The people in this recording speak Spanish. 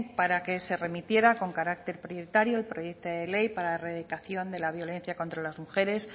para que se remitiera con carácter prioritario el proyecto de ley para la erradicación de la violencia contra las mujeres